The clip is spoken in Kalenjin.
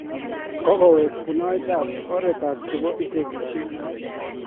kokowek bunaet ab oret chebo inteegeishek